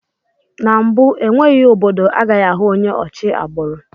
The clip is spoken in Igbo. N'mbu enweghị obodo agaghị ahụ onye ochi agbụrụ